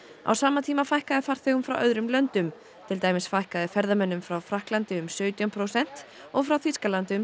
á sama tíma fækkaði farþegum frá öðrum löndum til dæmis fækkaði ferðamönnum frá Frakklandi um sautján prósent og frá Þýskalandi um